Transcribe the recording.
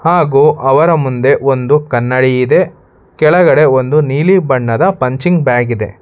ಹಾಗು ಅವರ ಮುಂದೆ ಒಂದು ಕನ್ನಡಿ ಇದೆ ಕೆಳಗಡೆ ಒಂದು ನೀಲಿ ಬಣ್ಣದ ಪಂಚಿಂಗ್ ಬ್ಯಾಗ್ ಇದೆ.